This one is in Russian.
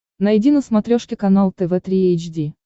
найди на смотрешке канал тв три эйч ди